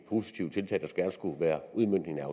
positive tiltag der gerne skulle være udmøntningen